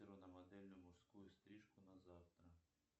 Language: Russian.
на модельную мужскую стрижку на завтра